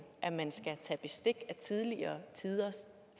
at man skal tage bestik af tidligere tiders